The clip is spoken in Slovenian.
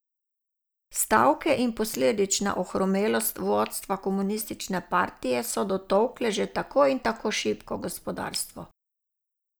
Stavke in posledična ohromelost vodstva Komunistične partije so dotolkle že tako in tako šibko gospodarstvo.